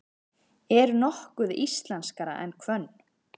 Er nokkuð íslenskara en hvönn?